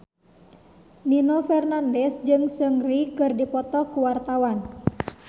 Nino Fernandez jeung Seungri keur dipoto ku wartawan